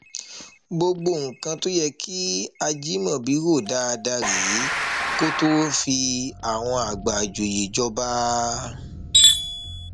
gbogbo nǹkan tó yẹ kí ajimobi rò dáadáa rèé kó tóó fi àwọn àgbà ìjòyè jọba